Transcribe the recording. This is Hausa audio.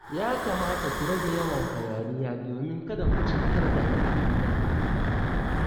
Ya kamata ku rage yawan hayaniya domin kada ku cutar da al'umma